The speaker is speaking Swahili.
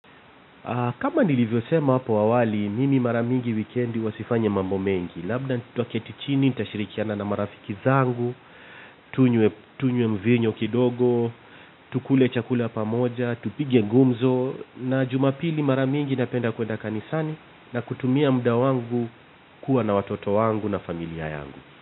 Kama nilivyo sema hapo awali, mimi mara mingi wikendi huwa sifanyi mambo mengi. Labda tutaketi chini, nitashirikiana na marafiki zangu, tunywe mvinyo kidogo, tukule chakula pamoja, tupige gumzo, na Jumapili mara mingi, napenda kuenda kanisani, na kutumia muda wangu, kuwa na watoto wangu na familia yangu.